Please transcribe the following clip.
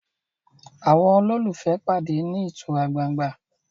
àwọn ololufee pàdé ní ìtura gbángba